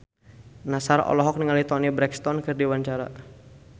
Nassar olohok ningali Toni Brexton keur diwawancara